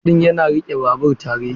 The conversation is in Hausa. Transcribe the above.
Firam ɗin yana riƙe babur tare.